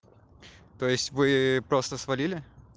то есть вы просто свалили